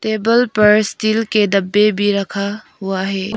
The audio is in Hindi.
टेबल पर स्टील के डब्बे भी रखा हुआ है।